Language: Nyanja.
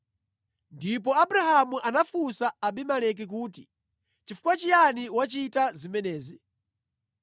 Ndipo Abrahamu anafunsa Abimeleki kuti, “Chifukwa chiyani wachita zimenezi?”